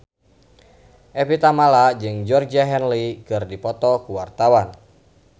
Evie Tamala jeung Georgie Henley keur dipoto ku wartawan